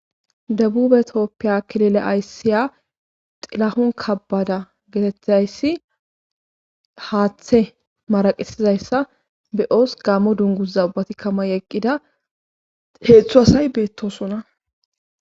dabube toppiya kilile ayssiya xilahon kabbada geetethayssi haaththe maraqesizayssa be7oos gaammo dunguza ubati kama eqqida heeththu asay beettosona